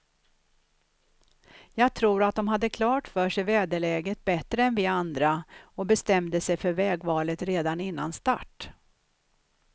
Jag tror att de hade klart för sig väderläget bättre än vi andra och bestämde sig för vägvalet redan innan start.